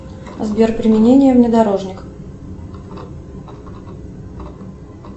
сбер применение внедорожника